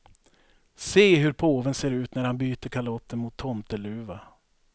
Se hur påven ser ut när han byter kalotten mot tomteluva.